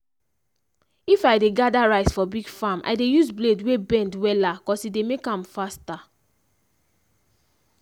if i dey gather rice for big farm i dey use blade wey bend wella cos e dey make am faster.